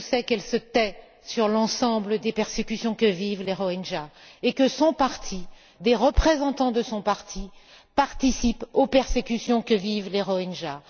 Ce que je sais, c'est qu'elle se tait sur l'ensemble des persécutions que vivent les Rohingyas et que son parti, des représentants de son parti, participent aux persécutions que vivent les Rohingyas.